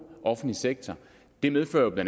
offentlig sektor det medfører bla